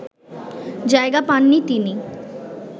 জায়গা পাননি তিনি